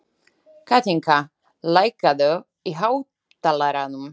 Kathinka, lækkaðu í hátalaranum.